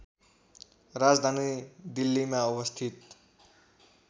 राजधानी दिल्लीमा अवस्थित